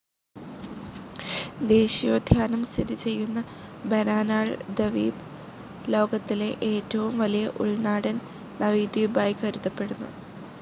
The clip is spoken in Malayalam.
ദേശീയോദ്യാനം സ്ഥിതിചെയ്യുന്ന ബാനാനാൾ ദവീപ്, ലോകത്തിലെ ഏറ്റവും വലിയ ഉൾനാടൻ നദീ ദവീപ് ആയി കരുതപ്പെടുന്നു.